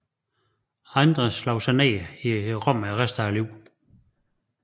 Andre slog sig ned i Rom for resten af livet